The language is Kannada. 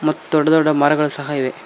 ದೊಡ್ಡ ದೊಡ್ಡ ಮರಗಳು ಸಹ ಇವೆ.